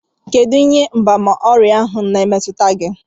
Kedụ ihe mgbaàmà ọrịa ahụ na-emetụta gị?